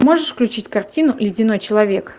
можешь включить картину ледяной человек